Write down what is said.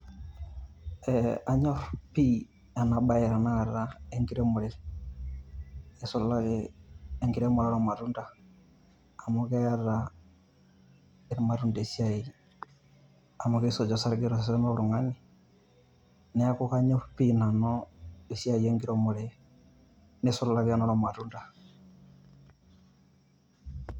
Eeeh anyor pii ena baye tenakata e nkiremore eisulaki enkiremore oo ilmatunda. Amu keeta ilmatunda esiai amu keisuj osarge to sesen loltung`ani. Niaku kanyorr nanu esiai enkiremore, neisulaki enoo ilmatunda.